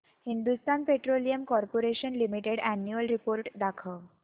Hindustan petroleum corporation limited annual report दाखव